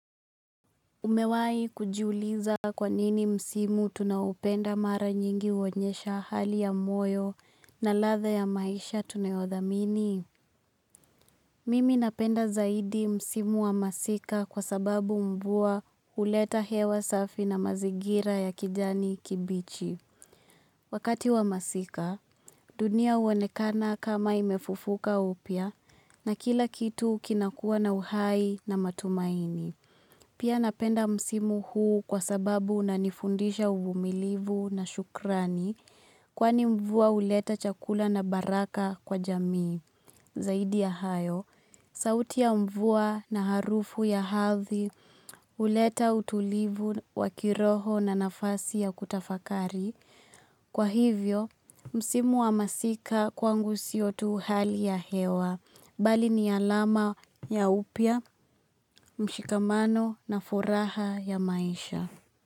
Umewahi kujiuliza kwa nini msimu tunaupenda mara nyingi uonyesha hali ya moyo na ladha ya maisha tunayodhamini. Mimi napenda zaidi msimu wa masika kwa sababu mvua huleta hewa safi na mazingira ya kijani kibichi. Wakati wa masika, dunia huonekana kama imefufuka upya na kila kitu kinakuwa na uhai na matumaini. Pia napenda msimu huu kwa sababu unanifundisha uvumilivu na shukrani kwani mvua huleta chakula na baraka kwa jamii. Zaidi ya hayo, sauti ya mvua na harufu ya ardhi huleta utulivu wakiroho na nafasi ya kutafakari. Kwa hivyo, msimu wa masika kwangu sio tu hali ya hewa, mbali ni alama ya upya, mshikamano na furaha ya maisha.